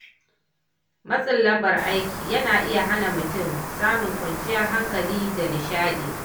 Matsin lambar aiki yana iya hana mutum samun kwanciyar hankali da nishaɗi.